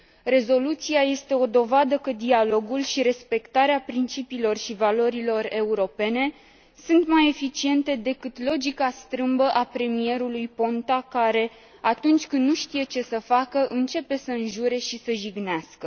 Rezoluția este o dovadă că dialogul și respectarea principiilor și valorilor europene sunt mai eficiente decât logica strâmbă a premierului Ponta care, atunci când nu știe ce să facă, începe să înjure și să jignească.